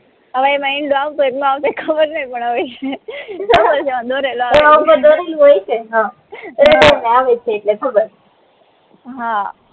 હવે એમાં ઈંદુ આવતું હોય કે ન આવતું હોય ખબર ની પણ હવે હા